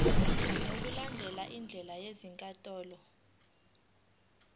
ngokulandela izindlela zezinkantolo